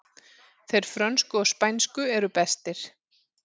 Þeir frönsku og spænsku eru bestir